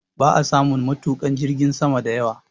Ba a samun matuƙa jirgin sama da yawa